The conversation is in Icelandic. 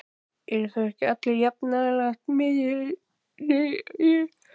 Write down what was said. Eru þá ekki allir jafn nálægt miðjunni í raun?